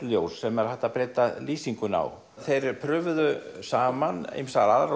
ljós sem er hægt að breyta lýsingunni á þeir prufuðu saman ýmsar aðrar